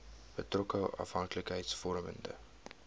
betrokke afhanklikheids vormende